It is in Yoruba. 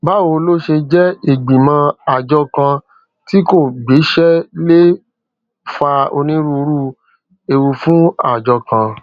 báwo ló ṣe jé ìgbìmọ àjọ kan tí kò gbéṣé lè fa onírúurú ewu fún àjọ kan